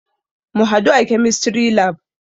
Mu hadu a Chemistry lab.